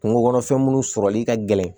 Kungo kɔnɔfɛn minnu sɔrɔli ka gɛlɛn